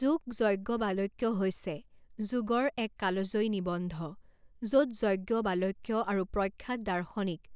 যোগ যজ্ঞবালক্য হৈছে যোগৰ এক কালজয়ী নিবন্ধ য'ত যজ্ঞবালক্য আৰু প্ৰখ্যাত দাৰ্শনিক